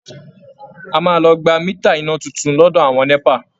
A máa lọ gba mítà iná tuntun lọ́dọ̀ àwọn NẸPA